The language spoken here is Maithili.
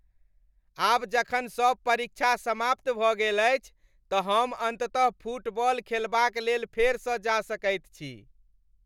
आब जखन सभ परीक्षा समाप्त भऽ गेल अछि त हम अन्ततः फुटबॉल खेलबाक लेल फेरसँ जा सकैत छी।